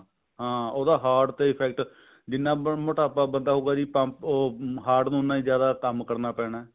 ਹਾਂ ਉਹਦਾ heart ਤੇ effect ਜਿੰਨਾ ਮੋਟਾਪਾ ਬੰਦਾ ਹੋਊਗਾ ਜੀ ਪੰਪ ਉਹ heart ਨੂੰ ਉੰਨਾ ਜਿਆਦਾ ਹੀ ਕੰਮ ਕਰਨਾ ਪੈਣਾ